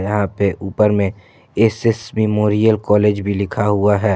यहां पे ऊपर में एस एस मेमोरियल कॉलेज भी लिखा हुआ है।